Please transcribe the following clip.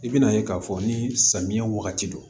I bɛna ye k'a fɔ ni samiya wagati don